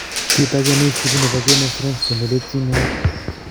Kit age neisipu nepo games of thrones ko neletyinen